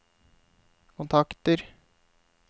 kontakter